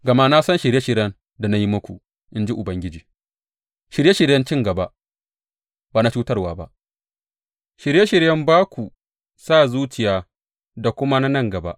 Gama na san shirye shiryen da na yi muku, in ji Ubangiji, shirye shiryen cin gaba ba na cutarwa ba, shirye shiryen ba ku sa zuciya da kuma na nan gaba.